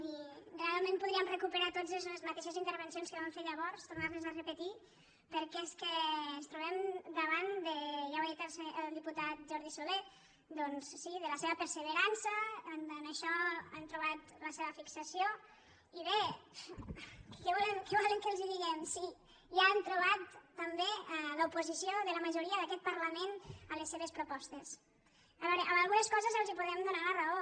i realment podríem recuperar tots les mateixes intervencions que vam fer llavors tornar les a repetir perquè és que ens trobem davant ja ho ha dit el diputat jordi solé doncs sí de la seva perseverança en això han trobat la seva fixació i bé què volen que els diguem si ja han trobat també l’oposició de la majoria d’aquest parlament a les seves propostes a veure en algunes coses els podem donar la raó